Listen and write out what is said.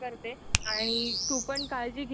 तर तू तुझ्या कानांना कव्हर करत जा